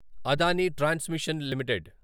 అదని transmission limited